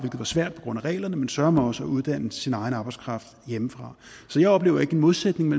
var svært på grund af reglerne men søreme også at uddanne sin egen arbejdskraft hjemmefra så jeg oplever ikke en modsætning